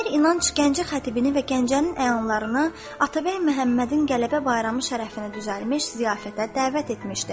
Əmir İnanc Gəncə xətibini və Gəncənin əyanlarını Atabəy Məhəmmədin qələbə bayramı şərəfinə düzəlmiş ziyafətə dəvət etmişdi.